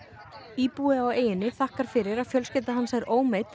íbúi á eyjunni þakkar fyrir að fjölskylda hans er